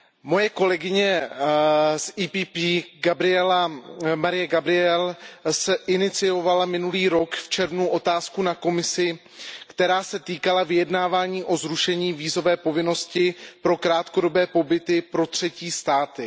Moje kolegyně z PPE Mariya Gabrielová iniciovala minulý rok v červnu otázku na Komisi, která se týkala vyjednávání o zrušení vízové povinnosti pro krátkodobé pobyty pro třetí státy.